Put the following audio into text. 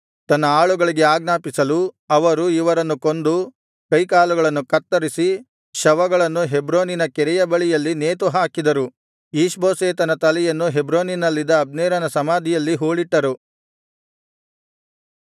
ತನ್ನ ಆಳುಗಳಿಗೆ ಆಜ್ಞಾಪಿಸಲು ಅವರು ಇವರನ್ನು ಕೊಂದು ಕೈಕಾಲುಗಳನ್ನು ಕತ್ತರಿಸಿ ಶವಗಳನ್ನು ಹೆಬ್ರೋನಿನ ಕೆರೆಯ ಬಳಿಯಲ್ಲಿ ನೇತುಹಾಕಿದರು ಈಷ್ಬೋಶೆತನ ತಲೆಯನ್ನು ಹೆಬ್ರೋನಿನಲ್ಲಿದ್ದ ಅಬ್ನೇರನ ಸಮಾಧಿಯಲ್ಲಿ ಹೂಳಿಟ್ಟರು